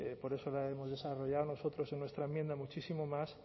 por eso la hemos desarrollado nosotros en nuestra enmienda muchísimo más